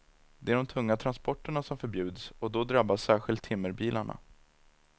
Det är de tunga transporterna som förbjuds och då drabbas särskilt timmerbilarna.